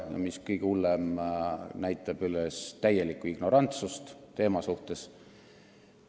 Ja mis kõige hullem: ta näitab üles täielikku ignorantsust teema suhtes.